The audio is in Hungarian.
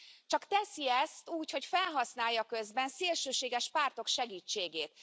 Csak teszi ezt úgy, hogy felhasználja közben szélsőséges pártok segítségét.